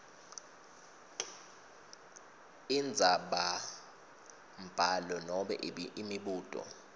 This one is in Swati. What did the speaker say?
indzabambhalo nobe imibuto